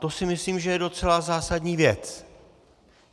To si myslím, že je docela zásadní věc.